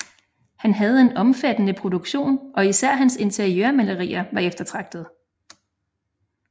Han havde en omfattende produktion og især hans interiørmalerier var eftertragtede